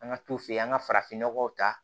An ka t'u fɛ yen an ka farafinnɔgɔw ta